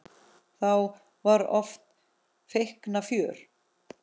Þá var oft feikna fjör.